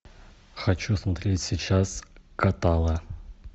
хочу смотреть сейчас катала